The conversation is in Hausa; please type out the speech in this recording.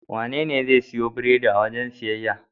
Wanene zai siyo biredi a wajen siyayya?